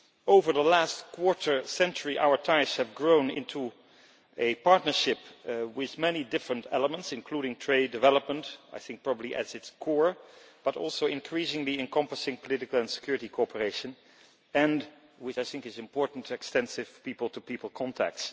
Over the last quarter century our ties have grown into a partnership with many different elements, including trade development, I think probably at its core, but also increasingly encompassing political and security cooperation and with which I think is important extensive people-to-people contact.